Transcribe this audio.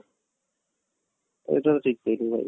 ଏଇଟା ତ ଠିକ କହିଲୁ ଭାଇ